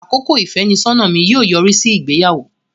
Àkókò ìfẹ́nisọ́nà mi yóò yọrí sí ìgbéyàwó.